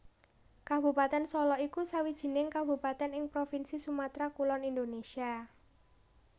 Kabupatèn Solok iku sawijining kabupatèn ing provinsi Sumatra Kulon Indonésia